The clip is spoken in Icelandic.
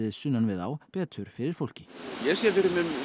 sunnan við á betur fyrir fólki ég sé fyrir mér